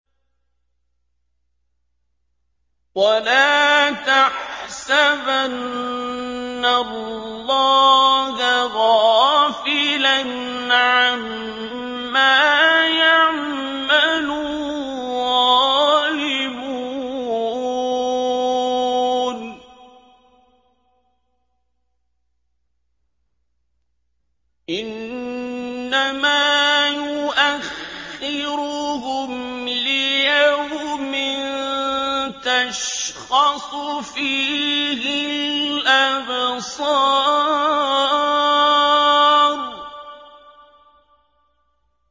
وَلَا تَحْسَبَنَّ اللَّهَ غَافِلًا عَمَّا يَعْمَلُ الظَّالِمُونَ ۚ إِنَّمَا يُؤَخِّرُهُمْ لِيَوْمٍ تَشْخَصُ فِيهِ الْأَبْصَارُ